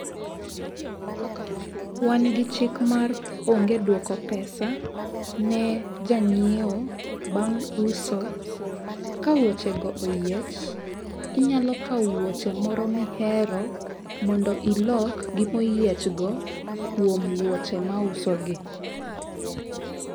Wan gi chik mar onge duoko pesa ne janyiewo bang' uso . Ka wuoche go oyiech, inyalo kawo wuoche moro mihero mondo ilok gi moyiech go kuom wuoche ma auso gi.